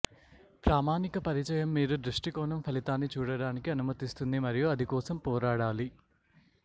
ప్రామాణిక పరిచయం మీరు దృష్టికోణం ఫలితాన్ని చూడటానికి అనుమతిస్తుంది మరియు అది కోసం పోరాడాలి